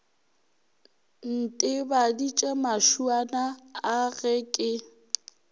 ntebaditše mašuana a ge ke